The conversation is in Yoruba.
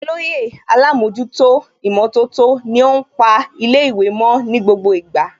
Olóyè Alámọ̀jútó ìmọ̀tótó ni ó ń pa ilé ìwé mo ní gbogbo ìgbà